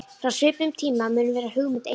Frá svipuðum tíma mun vera hugmynd Einars